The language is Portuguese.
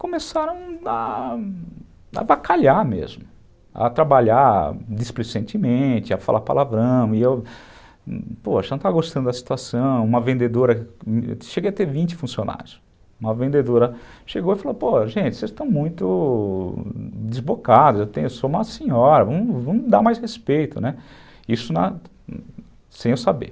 começaram a a avacalhar mesmo, a trabalhar displicentemente, a falar palavrão, e eu, poxa, não estava gostando da situação, uma vendedora, cheguei a ter vinte funcionários, uma vendedora chegou e falou, pô, gente, vocês estão muito desbocados, eu sou uma senhora, vamos dar mais respeito, isso na, isso sem eu saber.